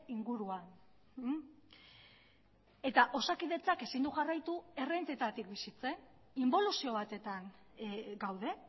inguruan eta osakidetzak ezin du jarraitu errentetatik bizitzen inboluzio batetan gaude